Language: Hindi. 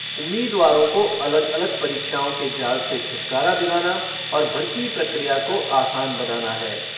उम्मीदवारों को अलग अलग परीक्षाओं के जाल से छुटकारा दिलाना और भर्ती प्रक्रिया को आसान बनाना है।